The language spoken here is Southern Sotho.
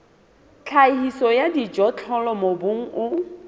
tlhahiso ya dijothollo mobung o